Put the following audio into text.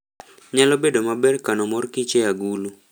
Nyalo bedo maber kano mor kich e agulu.